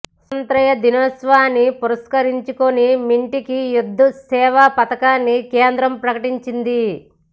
స్వాతంత్య్ర దినోత్సవాన్ని పురస్కరించుకుని మింటీకి యుద్ధ్ సేవా పతకాన్ని కేంద్రం ప్రకటించింది